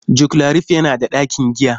Joclarif yana da ɗakin giya.